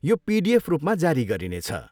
यो पिडिएफ रूपमा जारी गरिने छ।